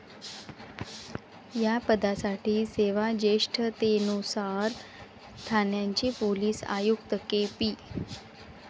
या पदासाठी सेवाजेष्ठतेनुसार ठाण्याचे पोलीस आयुक्त के. पी.